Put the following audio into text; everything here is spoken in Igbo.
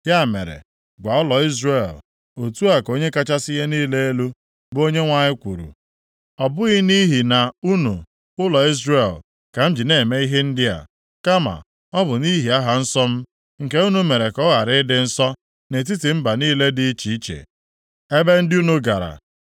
“Ya mere, gwa ụlọ Izrel, Otu a ka Onye kachasị ihe niile elu, bụ Onyenwe anyị kwuru: Ọ bụghị nʼihi na unu, ụlọ Izrel, ka m ji na-eme ihe ndị a, kama ọ bụ nʼihi aha nsọ m, nke unu mere ka ọ ghara ịdị nsọ nʼetiti mba niile dị iche iche ebe ndị unu gara.